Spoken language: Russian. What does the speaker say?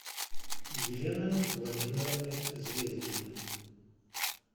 елены владимировны звездиной